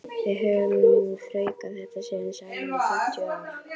Við höfum nú þraukað þetta síðan saman í fimmtíu ár.